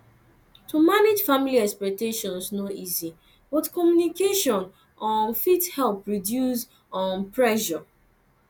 to manage family expectations no easy but communication um fit help reduce um pressure